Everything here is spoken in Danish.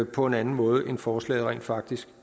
på en anden måde end forslaget rent faktisk